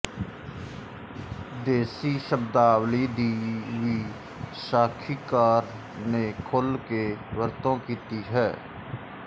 ਦੇਸ਼ੀ ਸ਼ਬਦਾਵਲੀ ਦੀ ਵੀ ਸਾਖੀਕਾਰ ਨੇ ਖੁਲ੍ਹ ਕੇ ਵਰਤੋਂ ਕੀਤੀ ਹੈ